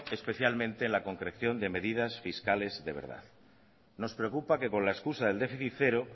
especialmente en la concreción de medidas fiscales de verdad nos preocupa que con la excusa del déficit cero